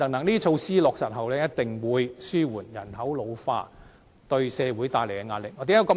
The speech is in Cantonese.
這些措施落實後，一定會紓緩人口老化對社會帶來的壓力。